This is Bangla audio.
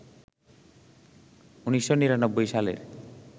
১৯৯৯ সালের